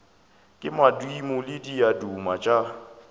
ke madimo le diaduma tša